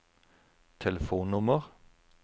telefonnummer